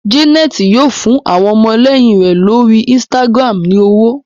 Janet yíò fún àwọn ọmọléyìn rẹ l'ori Instagram ní ọwọ.